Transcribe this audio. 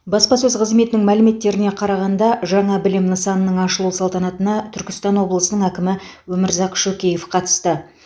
баспасөз қызметінің мәліметтеріне қарағанда жаңа білім нысанының ашылу салтанатына түркістан облысының әкімі өмірзақ шөкеев қатысты